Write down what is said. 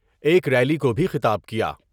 ایک ریلی کو بھی خطاب کیا ۔